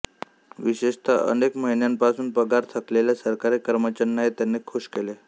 विशेषत अनेक महिन्यांपासून पगार थकलेल्या सरकारी कर्मचाऱ्यांनाही त्यांनी खूष केले